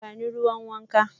Ba ni ruwan wanka.